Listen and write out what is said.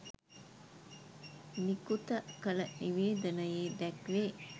නිකුත කළ නිවේදනයේ දැක්වේ